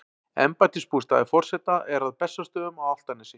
Embættisbústaður forseta er að Bessastöðum á Álftanesi.